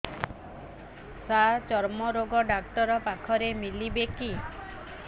ସାର ଚର୍ମରୋଗ ଡକ୍ଟର ପାଖରେ ମିଳିବେ କି